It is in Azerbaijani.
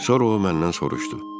Sonra o məndən soruşdu.